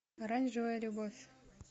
оранжевая любовь